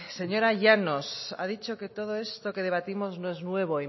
señora llanos ha dicho que todo esto que debatimos no es nuevo